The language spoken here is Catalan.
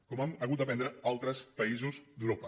com n’han hagut de prendre altres països d’europa